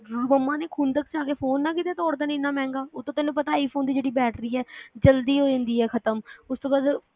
ਮਮਾਂ, ਖੁੰਦਕ ਕ ਚ ਆ ਕੇ ਫ਼ੋਨ ਨਾ ਕੀਤੇ ਤੋੜ ਦੇਣ ਐਨਾ ਮਹਿੰਗਾ ਉਹ ਤੇ ਤੈਨੂੰ ਪਤਾ iphone ਦੀ ਜਿਹੜੀ ਬੈਟਰੀ ਐ ਜਲਦੀ ਹੋ ਜਾਂਦੀ ਆ ਖ਼ਤਮ ਉਸ ਤੋਂ ਬਾਅਦ